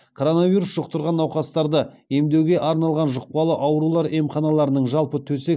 коронавирус жұқтырған науқастарды емдеуге арналған жұқпалы аурулар емханаларының жалпы төсек